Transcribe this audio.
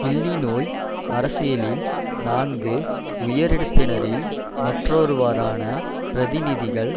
இல்லிநோய் அரசியலில் நான்கு உயரிடத்தினரில் மற்றொருவரான பிரதிநிதிகள்